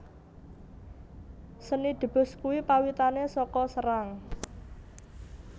Seni Debus kui pawitane soko Serang